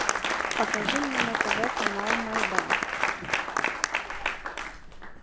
покажи мне на тв канал майдан